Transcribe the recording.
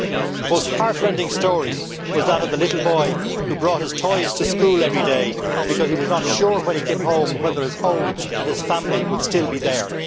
2010. The most heart rending story was that of a little boy who brought his toys to school every day because he was not sure when he came home whether his home and his family would still be there.